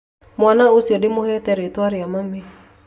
Mwana ũcio ndĩmũhete rĩtwa rĩa mami